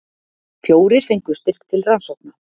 Fjórir fengu styrk til rannsókna